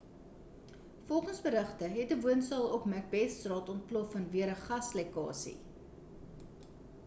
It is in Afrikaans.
volgens berigte het 'n woonstel op macbethstraat ontplof vanweë 'n gaslekkasie